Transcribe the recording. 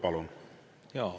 Palun!